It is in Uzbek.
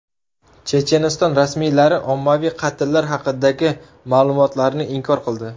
Checheniston rasmiylari ommaviy qatllar haqidagi ma’lumotlarni inkor qildi.